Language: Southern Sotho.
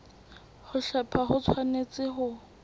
ho hlepha ho tshwanetse ho